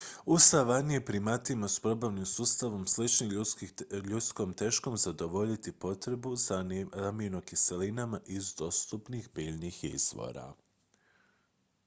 u savani je primatima s probavnim sustavom sličnim ljudskom teško zadovoljiti potrebu za aminokiselinama iz dostupnih biljnih izvora